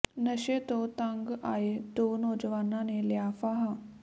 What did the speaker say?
ਨਸ਼ੇ ਤੋਂ ਤੰਗ ਆਏ ਦੋ ਨੌਜਵਾਨਾਂ ਨੇ ਲਿਆ ਫਾਹਾ